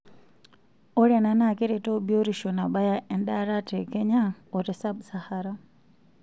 Ore ena nakeretu biotisho nabaya endaata tekenya ote sub-sahara